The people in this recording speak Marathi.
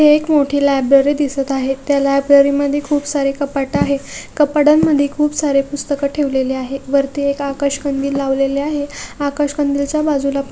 ही एक मोठी लायब्ररी दिसत आहे त्या लायब्ररी मध्ये खूप सारे कपाट आहे कपाटांमध्ये खूप सारे पुस्तकं ठेवलेले आहे वरती एक आकाश कंदील लावलेले आहे आकाश कंदील च्या बाजूला पा--